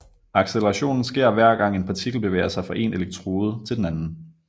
Accelerationen sker hver gang en partikel bevæger sig fra en elektrode til den anden